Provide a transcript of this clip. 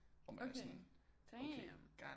Okay damn